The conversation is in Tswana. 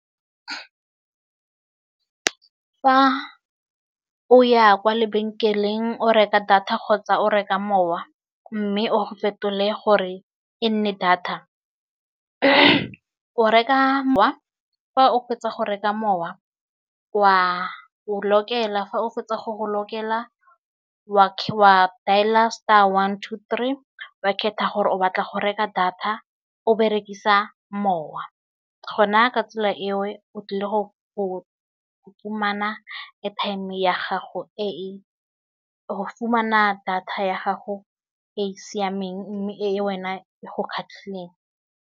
Fa o ya kwa lebenkeleng o reka data kgotsa o reka mowa, mme o fetole gore e nne data. O reka wa fa o fetsa go reka mowa wa o lokela fa o fetsa go lokela, wa dailer star one to three wa kgetha gore o batla go reka data, o berekisa mowa go na ka tsela e o tlile go fumana airtime ya gago, e fumana data ya gago e siameng mme e wena e go kgatlhileng.